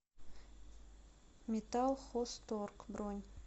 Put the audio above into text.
металлхозторг бронь